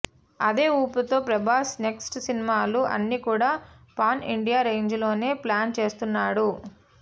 అదే ఊపుతో ప్రభాస్ నెక్స్ట్ సినిమాలు అన్ని కూడా పాన్ ఇండియా రేంజ్ లోనే ప్లాన్ చేస్తున్నాడు